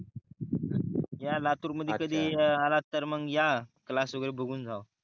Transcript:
या लातूर मधी कधी आल तर मग या क्लास वगेरे बघून जावा